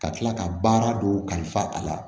Ka tila ka baara dɔw kalifa a la